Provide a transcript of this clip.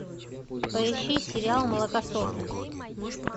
поищи сериал молокососы